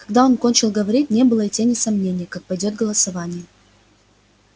когда он кончил говорить не было и тени сомнения как пойдёт голосование